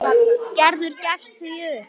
Gerður gefst því upp.